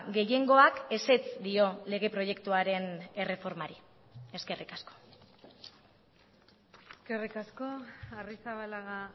gehiengoak ezetz dio lege proiektuaren erreformari eskerrik asko eskerrik asko arrizabalaga